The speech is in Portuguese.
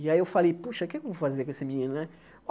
E aí eu falei, puxa, o que é que eu vou fazer com esse menino, né?